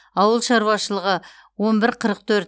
ауыл шаруашылығы он бір қырық төрт